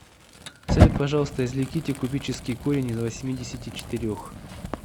салют пожалуйста извлеките кубический корень из восьмидесяти четырех